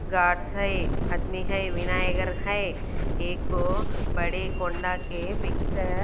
guards है आदमी है है एको बड़े कोंडा के पीक्स ह --